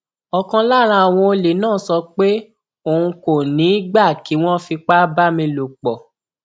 ọkan lára àwọn olè náà sọ pé òun kò ní í gbà kí wọn fipá bá mi lò pọ